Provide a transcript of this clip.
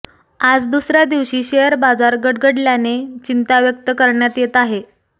आज दुसऱ्या दिवशी शेअर बाजार गडगडल्याने चिंता व्यक्त करण्यात येत आहे